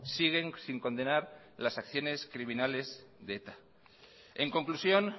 siguen sin condenar las acciones criminales de eta en conclusión